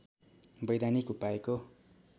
वैधानिक उपायको